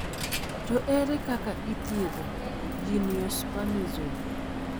to ere kaka ithiedho Geniospasm?